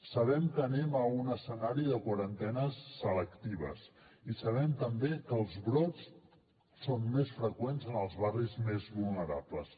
sabem que anem a un escenari de quarantenes selectives i sabem també que els brots són més freqüents en els barris més vulnerables